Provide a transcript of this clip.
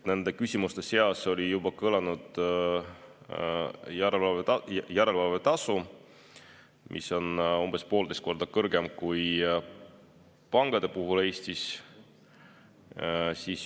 Nende küsimuste seas oli juba siin kõlanud küsimus järelevalvetasu kohta, mis on umbes poolteist korda kõrgem kui pankade puhul Eestis.